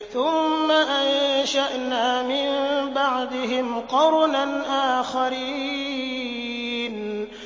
ثُمَّ أَنشَأْنَا مِن بَعْدِهِمْ قَرْنًا آخَرِينَ